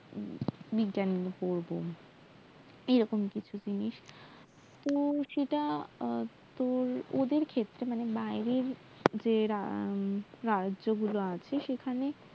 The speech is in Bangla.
বিজ্ঞান নিয়ে পড়বো এরকম কিছু জিনিস তো সেটা তোর্ ওদের ক্ষেত্রে মানে বাইরের যে রাজ্যগুলো আছে সেখানে